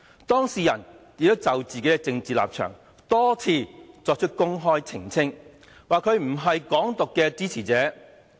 當事人亦已就自己的政治立場多次公開作出澄清，表明自己不是"港獨"的支持者。